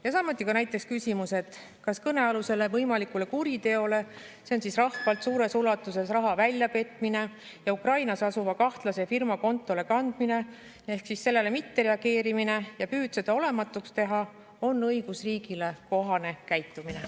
Ja samuti näiteks küsimus, kas kõnealusele võimalikule kuriteole, see on rahvalt suures ulatuses raha väljapetmine ja Ukrainas asuva kahtlase firma kontole kandmine, mittereageerimine ja püüd seda olematuks teha on õigusriigile kohane käitumine.